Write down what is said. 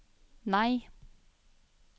nei